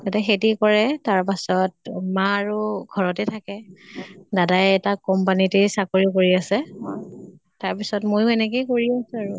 তাই খেতি কৰে, তাৰ পাছত মা আৰু ঘৰতে থাকে। দাদাই এটা company তে চাকৰি কৰি আছে। তাৰ পিছত ময়ো এনেকেই কৰি আছো আৰু।